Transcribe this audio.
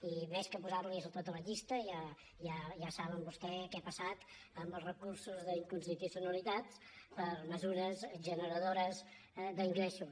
i més que posar los tota la llista ja saben vostès què ha passat amb els recursos d’inconstitucionalitat per a mesures generadores d’ingressos